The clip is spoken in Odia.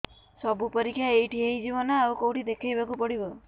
ସବୁ ପରୀକ୍ଷା ଏଇଠି ହେଇଯିବ ନା ଆଉ କଉଠି ଦେଖେଇ ବାକୁ ପଡ଼ିବ